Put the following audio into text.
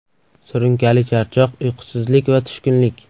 Surunkali charchoq, uyqusizlik va tushkunlik.